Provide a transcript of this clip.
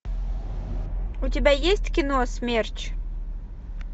у тебя есть кино смерч